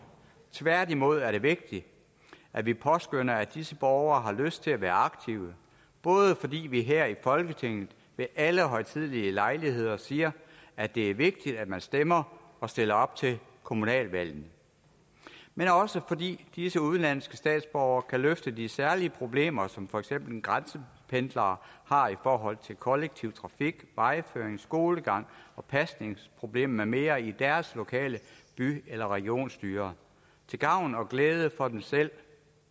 tværtimod er det vigtigt at vi påskønner at disse borgere har lyst til at være aktive både fordi vi her i folketinget ved alle højtidelige lejligheder siger at det er vigtigt at man stemmer og stiller op til kommunalvalgene men også fordi disse udenlandske statsborgere kan løfte de særlige problemer som for eksempel grænsependlere har i forhold til kollektiv trafik vejføring skolegang og pasningsproblemer med mere i deres lokale by eller regionsstyre til gavn og glæde for dem selv